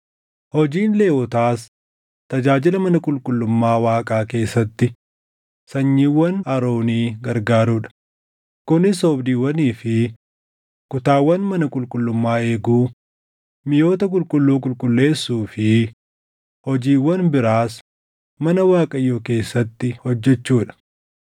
Hojiin Lewwotaas tajaajila mana qulqullummaa Waaqaa keessatti sanyiiwwan Aroonii gargaaruu dha; kunis oobdiiwwanii fi kutaawwan mana qulqullummaa eeguu, miʼoota qulqulluu qulqulleessuu fi hojiiwwan biraas mana Waaqayyoo keessatti hojjechuu dha.